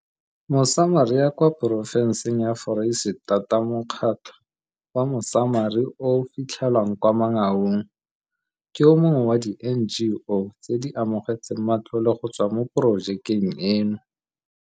Mosamaria kwa Porofenseng ya ForeisetataMokgatlho wa Mosamari o o fitlhelwang kwa Mangaung, ke o mongwe wa di-NGO tse di amogetseng matlole go tswa mo porojekeng eno.